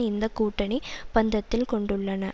இந்த கூட்டணி பந்தத்தில் கொண்டுள்ளன